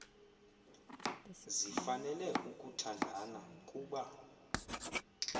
zifanele ukuthandana kuba